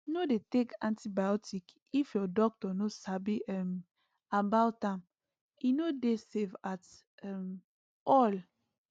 no dey take antibiotic if your doctor no sabi um about am e no dey safe at um all